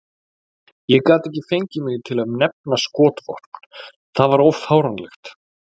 Ég gat ekki fengið mig til að nefna skotvopn, það var of fáránlegt.